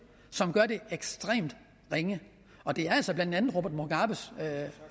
som gør det ekstremt ringe og det er altså blandt andet robert mugabes